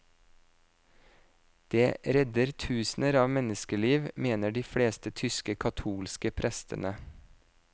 Det redder tusener av menneskeliv, mener de fleste tyske katolske prestene.